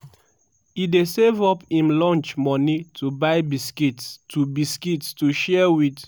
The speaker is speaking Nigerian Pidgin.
"e dey save up im lunch money to buy biscuits to biscuits to share wit